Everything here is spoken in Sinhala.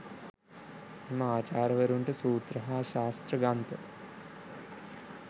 එම ආචාර්යවරුන්ට සූත්‍ර හා ශාස්ත්‍ර ග්‍රන්ථ